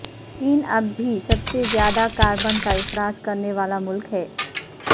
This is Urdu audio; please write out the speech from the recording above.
چین اب بھی سب سے زیادہ کاربن کا اخراج کرنے والا ملک ہے